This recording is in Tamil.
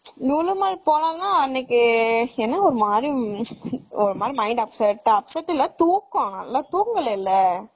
லூலூ மால் போலாம்னா அன்னைக்கு என்ன ஒருமாதிரி ஒருமாதிரி mind upset ஆ upset இல்ல நல்ல தூக்கம் தூங்கலைல